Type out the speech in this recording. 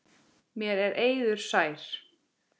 Mér er eiður sær.